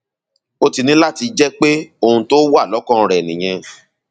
ó ti ní láti jẹ pé ohun tó wà lọkàn rẹ nìyẹn